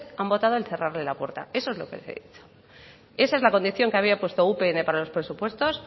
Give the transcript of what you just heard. han votado al cerrarle la puerta eso es lo que le he dicho esa es la condición que había puesto upn para los presupuestos